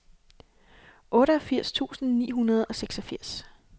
otteogfirs tusind ni hundrede og seksogfirs